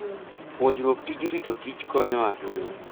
Puonjruok tij ritokich konyo ahinya.